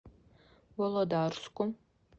володарску